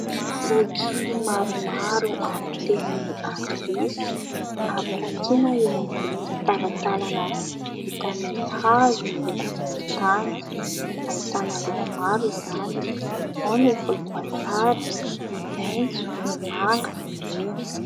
Boky maromaro amin'ny teny anglisy hampirantiana eo ambon'ny talantalana vita amin'ny hazo miloko volontany, ahitana loko maro izany ao ny volomboasary, ny maintso, ny manga, ny mena.